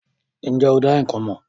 Ǹ jẹ́ o dá ikán mọ̀?